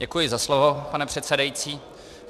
Děkuji za slovo, pane předsedající.